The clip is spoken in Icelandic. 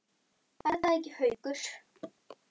Er það ekki, Haukur?